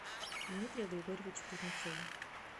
дмитрию григорьевичу кузнецову